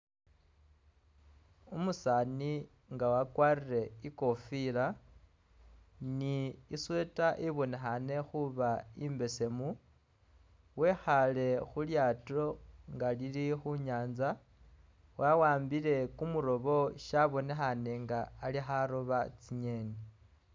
Umusaani nga wakwarire i'kofila ni i'sweater ibonekhane khuba imbesemu wekhaale khu lyaato nga lili khu nyaanza wa'ambile kumurobo shabonekhaane nga ali kharoba tsingeeni.